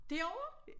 Derovre?